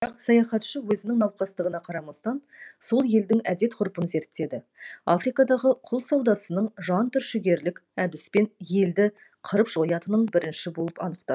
бірақ саяхатшы өзінің науқастығына қарамастан сол елдің әдет ғұрпын зерттеді африкадағы құл саудасының жан түршігерлік әдіспен елді қырып жоятынын бірінші болып анықтады